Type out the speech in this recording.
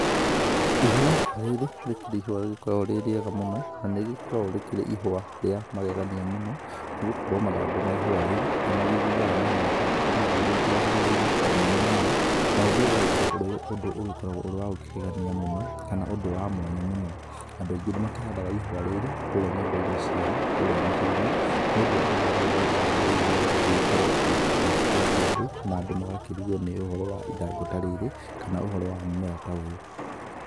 Ihũa, rĩrĩ, rĩkĩrĩ ihũa rĩgĩkoragwo rĩ rĩega mũno, na nĩrĩkoragwo rĩkĩrĩ ihũa rĩa magegania mũno, nĩgũkorwo mathangũ ma ihũa rĩrĩ, nĩmagithiaga magĩgĩtũraga marima omomenyewe ,na ũndũ ũyũ ũgagĩkorwo ũrĩ ũndũ ũgĩkoragwo ũrĩ wa gũkĩgegania mũno, kana ũndũ wa mwanya mũno, andũ aingĩ nĩmakĩhandaga ihũa rĩrĩ kũrĩa nyũmba-inĩ ciao, kũrĩa mĩciĩ-inĩ, nĩũndũ wa ũhoro ũyũ wa ithangũ rĩrĩ rĩaguo gũgĩkorwo rĩgĩgĩkĩgegia andũ na andũ magakĩrigwo ni ũhoro wa ithangũ ta rĩrĩ kana ũhoro wa mũmera ta ũyũ.